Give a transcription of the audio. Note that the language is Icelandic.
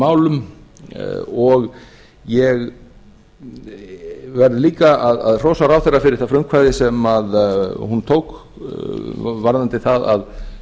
öryggismálum og ég verð líka að hrósa ráðherra fyrir það frumkvæði sem hún tók varðandi það að